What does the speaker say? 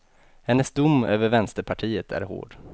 Hennes dom över vänsterpartiet är hård.